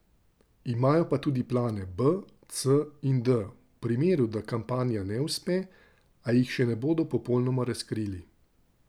Imajo pa tudi plane B, C in D, v primeru, da kampanja ne uspe, a jih še ne bodo popolnoma razkrili.